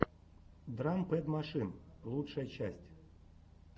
драм пэд машин лучшая часть